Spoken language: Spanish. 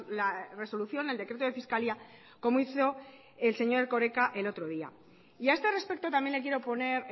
la resolución el decreto de fiscalía como hizo el señor erkoreka el otro día y a este respecto también le quiero poner